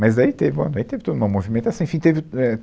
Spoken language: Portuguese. Mas daí teve uma, aí teve toda uma movimentação, enfim, teve, é